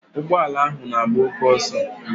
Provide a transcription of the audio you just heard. Ụgbọala ahụ n'agba oké ọsọ.